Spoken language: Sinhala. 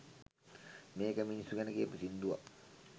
මේක මිනිස්සු ගැන කියපු සින්දුවක්